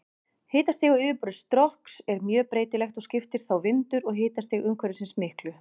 Hitastig á yfirborði Strokks er mjög breytilegt og skiptir þá vindur og hitastig umhverfisins miklu.